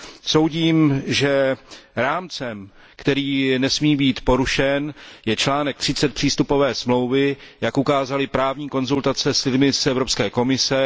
Soudím, že rámcem, který nesmí být porušen, je článek 30 přístupové smlouvy, jak ukázaly právní konzultace s lidmi z Evropské komise.